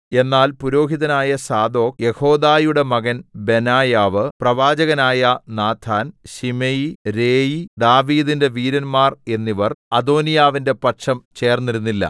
എന്നാൽ പുരോഹിതനായ സാദോക്ക് യെഹോയാദയുടെ മകൻ ബെനായാവ് പ്രവാചകനായ നാഥാൻ ശിമെയി രേയി ദാവീദിന്റെ വീരന്മാർ എന്നിവർ അദോനീയാവിന്റെ പക്ഷം ചേർന്നിരുന്നില്ല